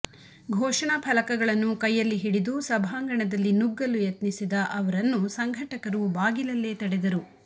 ಘೋಷಣಾ ಫಲಕಗಳನ್ನು ಕೈಯಲ್ಲಿ ಹಿಡಿದು ಸಭಾಂಗಣದಲ್ಲಿ ನುಗ್ಗಲು ಯತ್ನಿಸಿದ ಅವರನ್ನು ಸಂಘಟಕರು ಬಾಗಿಲಲ್ಲೇ ತಡೆದರು